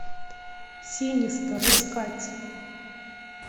синистер искать